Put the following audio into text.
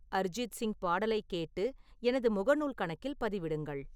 அரிஜித் சிங்கின் பாடலைக் கேட்டு எனது முகநூல் கணக்கில் பதிவிடுங்கள்